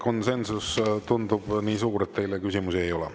Konsensus tundub nii suur, et teile küsimusi ei ole.